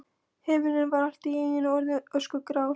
Himinninn var allt í einu orðinn öskugrár.